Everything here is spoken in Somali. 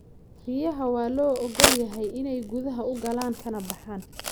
Riyaha waa loo ogol yahay inay gudaha u galaan kana baxaan.